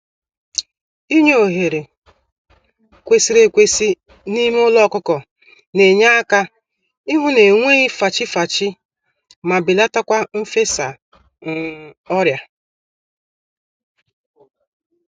Inye ohere kwesịrị ekwesị n'ime ụlọ ọkụkọ n'enyeaka ịhụ na enweghị fachi-fachi, ma belatakwa mfesa um ọrịa